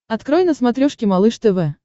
открой на смотрешке малыш тв